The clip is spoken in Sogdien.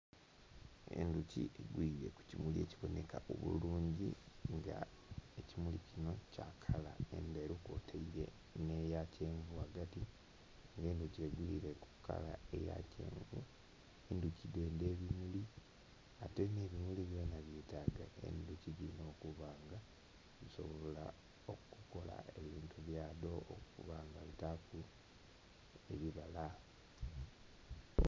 Endhuki egwile ku kimuli ekibonheka obulungi nga ekimuli kino kya kala endheru kwotaile n'eya kyenvu ghagati, nga endhuki egwile ku kala eya kyenvu. Endhuki dhendha ebimuli ate nh'ebimuli byona byetaaga endhuki dhino, okuba nga bisobola okukola ebintu bya dho, okuba nga bitaaku ebibala.